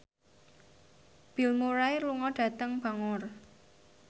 Bill Murray lunga dhateng Bangor